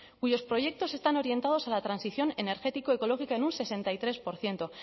cuyos proyectos están orientados a la transición energético ecológica en un sesenta y tres por ciento